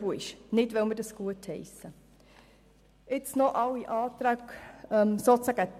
Dies nicht, weil wir dies gutheissen, sondern weil sie in Relation zur Kürzung um 10 Prozent das kleinere Übel darstellen.